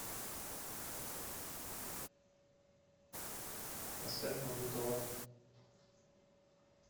поставь магнитола